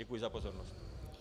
Děkuji za pozornost.